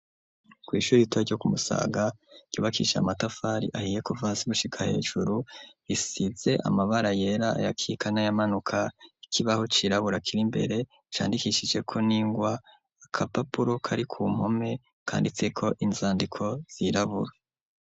Ku ishuri rito ryo Kumusaga ryubakisha amatafari ahiye kuva hasi gushika hejuru risize amabara yera ayakitse n'ayamanuka, ikibaho cirabura kiri imbere candikishijeko n'ingwa agapapuro kari ku mpome kanditse ko inzandiko zirabura.